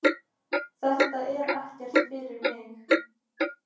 Þetta er ekkert fyrir mig.